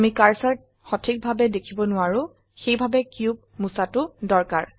আমি কাৰ্সাৰ সঠিকভাবে দেখিব নোৱাৰো সেইভাবে কিউব মুছাটো দৰকাৰ